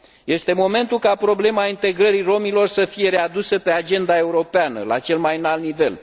Este momentul ca problema integrării romilor să fie readusă pe agenda europeană, la cel mai înalt nivel.